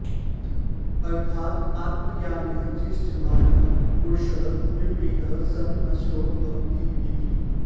अर्थात् आत्मज्ञानाय चेष्ट्यमानः पुरुषः विपरीतः सन् नष्टो भवति इति